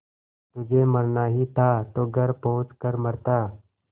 तुझे मरना ही था तो घर पहुँच कर मरता